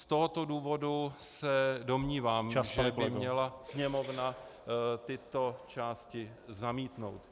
Z tohoto důvodu se domnívám, že by měla Sněmovna tyto části zamítnout.